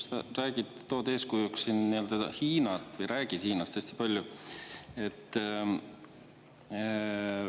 Sa räägid, tood eeskujuks siin Hiinat või räägid Hiinast hästi palju.